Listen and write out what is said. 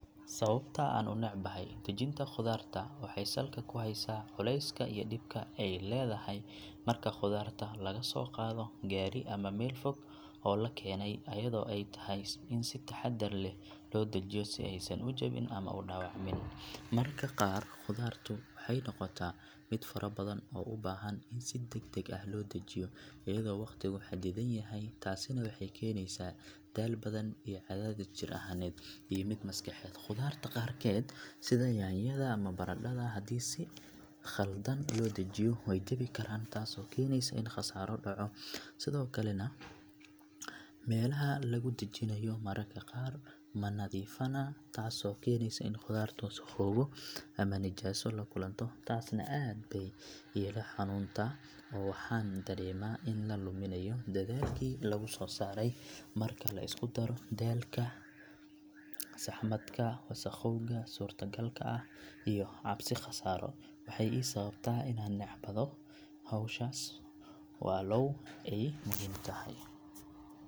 Sababta aan u necbahay dajinta khudaarta waxay salka ku haysaa culayska iyo dhibka ay leedahay marka khudaarta laga soo qaado gaari ama meel fog oo la keenay ayadoo ay tahay in si taxaddar leh loo dejiyo si aysan u jabin ama u dhaawacmin mararka qaar khudaartu waxay noqotaa mid fara badan oo u baahan in si degdeg ah loo dejiyo iyadoo waqtigu xaddidan yahay taasina waxay keenaysaa daal badan iyo cadaadis jir ahaaneed iyo mid maskaxeed khudaarta qaarkeed sida yaanyada ama baradhada haddii si khaldan loo dajiyo way jabi karaan taasoo keenaysa in khasaaro dhaco sidoo kalena meelaha laga dajinayo mararka qaar ma nadiifna taasoo keenaysa in khudaartu wasakhoobo ama nijaaso la kulanto taasna aad bay iila xanuunta oo waxaan dareemaa in la luminayo dadaalkii lagu soo saaray marka la isku daro daalka, saxmadka, wasakhowga suurtagalka ah iyo cabsi khasaaro waxay ii sababtaa inaan necbado howshaas walow ay muhiim tahay.